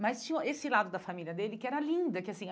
Mas tinha esse lado da família dele, que era linda que assim.